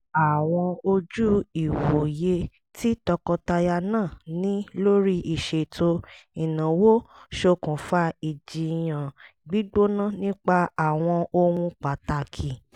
àwọn ojú ìwòye tí tọkọtaya náà ní lórí ìṣètò ìnáwó ṣòkùnfà ìjìyàn gbígbóná nípa àwọn ohun pàtàkì